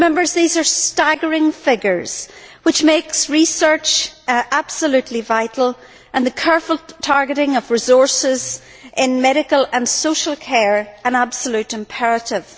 These are staggering figures, which make research absolutely vital and the careful targeting of resources in medical and social care an absolute imperative.